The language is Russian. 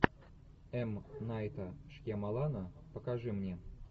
м найта шьямалана покажи мне